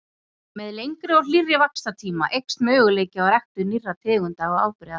Með lengri og hlýrri vaxtartíma eykst möguleiki á ræktun nýrra tegunda og afbrigða.